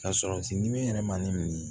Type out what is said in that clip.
Ka sɔrɔsi ɲimi yɛrɛ ma ni min ye